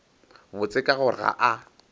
botse ka gore ga a